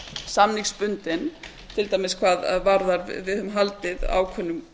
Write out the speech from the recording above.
samningsbundin til dæmis hvað varðar við höfum haldið ákveðnum